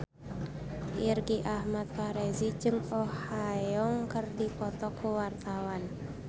Irgi Ahmad Fahrezi jeung Oh Ha Young keur dipoto ku wartawan